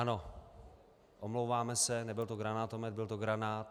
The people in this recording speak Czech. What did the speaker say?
Ano, omlouváme se, nebyl to granátomet, byl to granát.